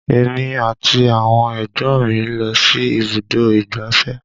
Èmi àti àwọn ẹ̀gbọ́n mi lọ sí ibùdó ìgbáfẹ́